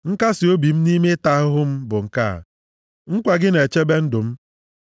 Nkasiobi m nʼime ịta ahụhụ m bụ nke a: nkwa gị na-echebe ndụ m.